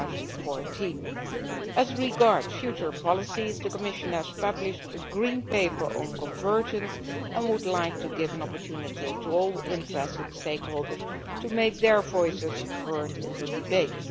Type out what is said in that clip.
2014. As regards future policies, the Commission has published a Green Paper on convergence and would like to give an opportunity to all interested stakeholders to make their voices heard in the debate.